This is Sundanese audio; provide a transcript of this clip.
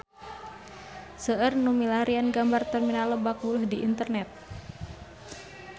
Seueur nu milarian gambar Terminal Lebak Bulus di internet